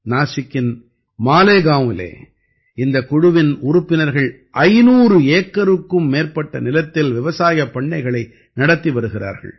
நாஸிக்கின் மாலேகான்விலே இந்தக் குழுவின் உறுப்பினர்கள் 500 ஏக்கருக்கும் மேற்பட்ட நிலத்தில் விவசாயப் பண்ணைகளை நடத்தி வருகிறார்கள்